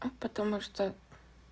а потому что